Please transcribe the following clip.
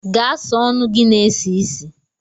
Gaa sa ọnụ gị na-esi ísì.